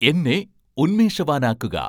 എന്നെ ഉന്മേഷവാനാകുക